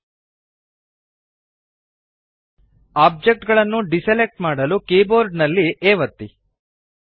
object ಗಳನ್ನು deselect ಮಾಡಲು keyboard ನಲ್ಲಿಯ A ಒತ್ತಿ